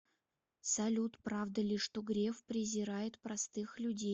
салют правда ли что греф презирает простых людей